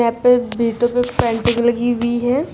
पे पेंटिंग लगी हुई है।